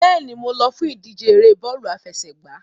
Bẹ́ẹ̀ni, mo lọ fún ìdíje ère bọ́ọ̀lù àfẹsẹ̀gbá.